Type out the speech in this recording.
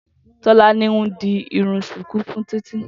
Tolani n dí irùn ṣùkùú fùn Titi